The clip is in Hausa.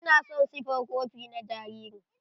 Ina son siffar kopi na jaririn.